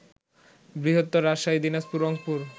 বৃহত্তর রাজশাহী, দিনাজপুর, রংপুর